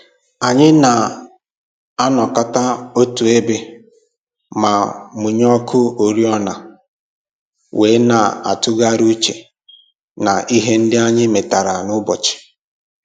Anyị na-anọkọta otu ebe ma mụnye ọkụ oriọna wee na-atụgharị uche na ihe ndị anyị metara n'ụbọchị